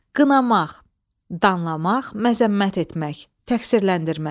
Qınamaq, danlamaq, məzəmmət etmək, təqsirləndirmək.